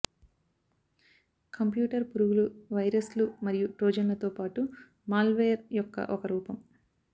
computer పురుగులు వైరస్లు మరియు ట్రోజన్లతో పాటు మాల్వేర్ యొక్క ఒక రూపం